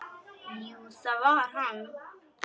Jú, það var hann!